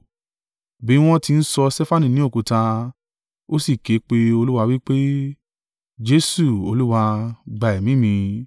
Bí wọ́n ti ń sọ Stefanu ní òkúta, ó sì ké pe Olúwa wí pé, “Jesu Olúwa, gba ẹ̀mí mi.”